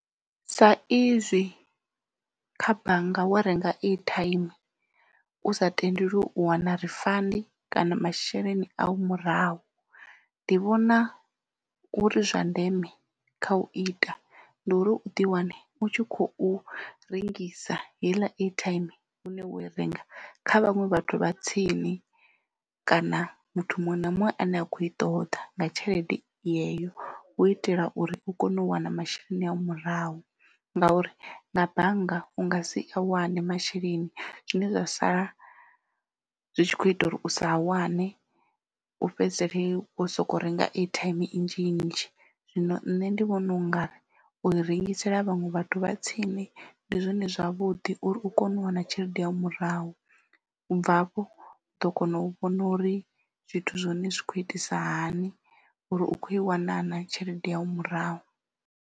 Sa izwi kha bannga wo renga airtime u sa tendelwi u wana refund kana masheleni a u murahu ndi vhona uri zwa ndeme kha u ita ndi uri u ḓi wane u tshi khou rengisa heiḽa airtime hune wo i renga kha vhaṅwe vhathu vha tsini kana muthu muṅwe na muṅwe ane a kho i ṱoḓa nga tshelede yeyo u itela uri u kone u wana masheleni au murahu ngauri nga bannga u nga si a wane masheleni. Zwine zwa sala zwi tshi kho ita uri u sa a wane u fhedzisele hezwi wo soko renga airtime nnzhi nnzhi zwino nṋe ndi vhona u nga ri u rengisela vhaṅwe vhathu vha tsini ndi zwone zwavhuḓi uri u kone u wana tshelede yanu murahu ubva hafho u ḓo kona u vhona uri zwithu zwa hone zwi kho itisa hani uri u kho i wana na tshelede yanu murahu.